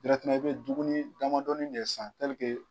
i bɛ duguni damadɔnin de san